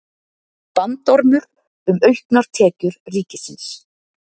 Bandormur um auknar tekjur ríkisins